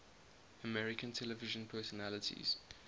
american television personalities